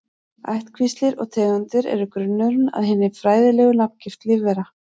Ættkvíslir og tegundir eru grunnurinn að hinni fræðilegu nafngift lífvera.